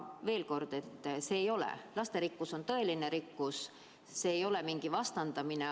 Veel kord: lasterikkus on tõeline rikkus, see ei ole mingi vastandamine.